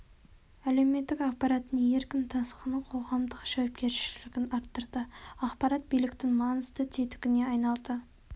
әлеуметтік ақпараттың еркін тасқыны қоғамдық жауапкершілігін арттырды ақпарат биліктің маңызды тетігіне айналды